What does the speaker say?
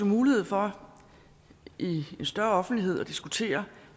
mulighed for i en større offentlighed at diskutere